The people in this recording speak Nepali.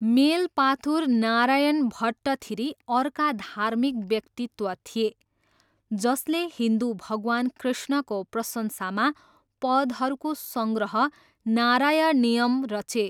मेलपाथुर नारायण भट्टथिरी अर्का धार्मिक व्यक्तित्व थिए जसले हिन्दु भगवान कृष्णको प्रशंसामा पदहरूको सङ्ग्रह नारायणियम रचे।